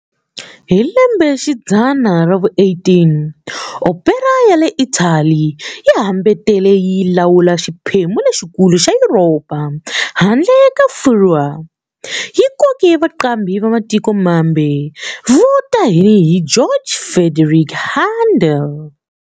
Hi lembexidzana ra vu-18, opera ya le Italy yi hambete yi lawula xiphemu lexikulu xa Yuropa, handle ka Furwa, yi koke vaqambhi va matiko mambe vo tanihi George Frideric Handel.